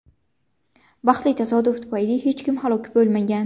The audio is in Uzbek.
Baxtli tasodif tufayli hech kim halok bo‘lmagan.